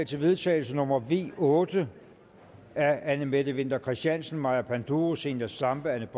til vedtagelse nummer v otte af anne mette winther christiansen maja panduro zenia stampe anne